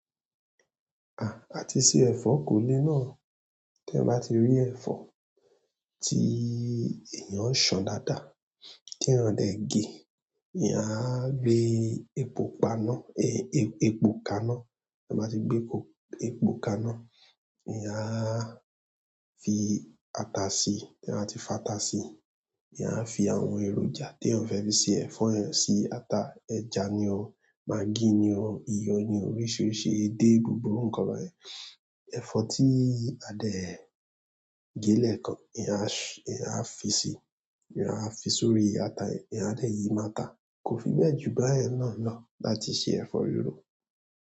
À, àti ṣe ẹ̀fọ́ kò lé náà. Tí eyan bá ti ní ẹ̀fọ́ tí èyàn so dáadáa tí èyàn dẹ̀ gé èyàn a gbé epo pupa ka na tí ẹ bá ti gbé epo kaná, eyán á fi ata sí i. Tí ẹ bá ti fa ata sí i, eyán á fi àwọn èròjà tí èèyàn fẹ́ fi ṣe ẹ̀fọ́ ẹ sí ata. Ẹja ni o, magí ni o, iyọ̀ ni o, oríṣìíríṣìí, ẹ dé gbogbo nǹkan lọ. Ẹ̀fọ́ tí a dẹ̀ gé lẹ́kan èyán a fi sí èyàn à fi sórí ata yẹn èyàn a dẹ̀ yí mo ata. Kò fi bẹ́ẹ̀ jù báyẹn náà lọ láti ṣe ẹ̀fọ́ rirò.